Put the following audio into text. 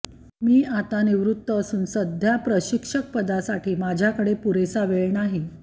मी आता निवृत्त असून सध्या प्रशिक्षकपदासाठी माझ्याकडे पुरेसा वेळ नाही